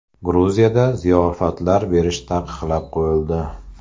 Gruziyada ziyofatlar berish taqiqlab qo‘yildi.